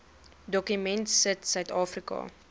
dokument sit suidafrika